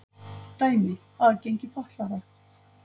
Dæmi: aðgengi fatlaðra.